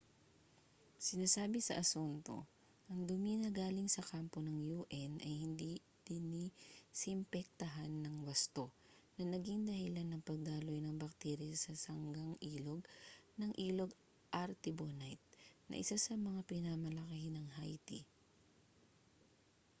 sinasabi sa asunto ang dumi na galing sa kampo ng un ay hindi dinisimpektahan nang wasto na naging dahilan ng pagdaloy ng bakterya sa sangang-ilog ng ilog artibonite na isa sa mga pinakamalaki ng haiti